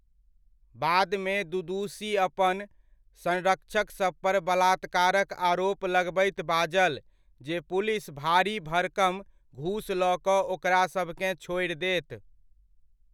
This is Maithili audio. बादमे दुदुशी अपन संरक्षक सभपर बलात्कारक आरोप लगबैत बाजल जे पुलिस भारी भड़कम घूस लऽ कऽ ओकरासभकेँ छोड़ि देत।